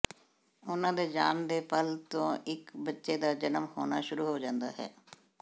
ਉਨ੍ਹਾਂ ਦੇ ਜਾਣ ਦੇ ਪਲ ਤੋਂ ਇਕ ਬੱਚੇ ਦਾ ਜਨਮ ਹੋਣਾ ਸ਼ੁਰੂ ਹੋ ਜਾਂਦਾ ਹੈ